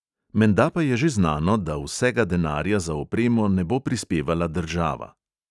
Menda pa je že znano, da vsega denarja za opremo ne bo prispevala država.